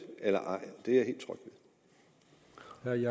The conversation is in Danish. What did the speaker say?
eller ej det er